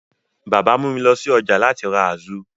Bàbá mú mi lọ sí ọjà láti ra azu.